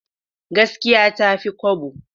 Gaskiya ta fi kwabo.